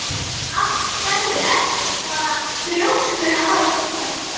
Vasaði hann fram á Vindárdal varð honum það að meini.